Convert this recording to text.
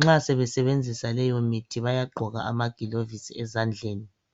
nxa sebesebenzisa leyo mithi baya ukugqoka amagilovisi ezandleni